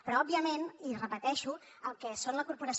però òbviament i ho repeteixo el que és la corporació